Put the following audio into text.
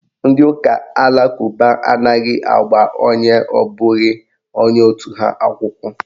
Ndị ụka alakụba anaghị agba onye abụghị onye otu ha akwụkwọ.